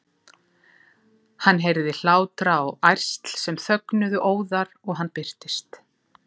Hann heyrði hlátra og ærsl sem þögnuðu óðar og hann birtist.